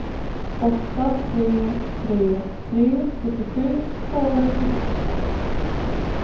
åtta tre tre tre sjuttiosju tvåhundrasjuttiosju